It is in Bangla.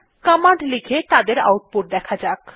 কমান্ড লিখে তাদের আউটপুট দেখা যাক